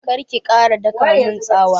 Kar ki ƙara daƙa mun tsawa!